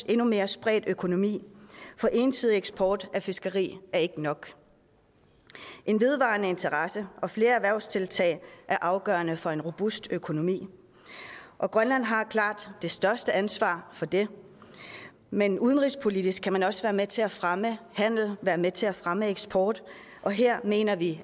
endnu mere spredt økonomi for ensidig eksport af fisk er ikke nok en vedvarende interesse og flere erhvervstiltag er afgørende for en robust økonomi og grønland har klart det største ansvar for det men udenrigspolitisk kan man også være med til at fremme handel og være med til at fremme eksport og her mener vi